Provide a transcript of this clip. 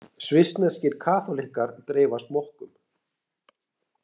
Svissneskir kaþólikkar dreifa smokkum